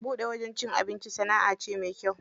Buɗe wajen cin abinci sanaʼa ce mai kyau.